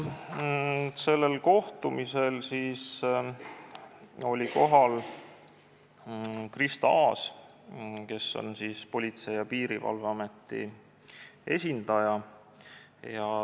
Sellel kohtumisel oli kohal Krista Aas, Politsei- ja Piirivalveameti esindaja.